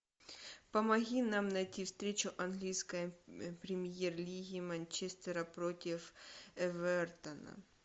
помоги нам найти встречу английской премьер лиги манчестера против эвертона